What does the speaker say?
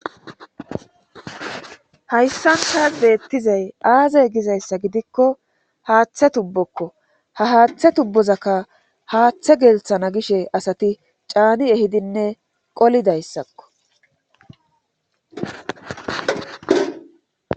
Hayssan tas beettizay aazey gizayssa gidikko haaththe tubbokko ha haaththe tubbozakka haaththe gelthana gishe asati caani ehidinne qolidayssakko.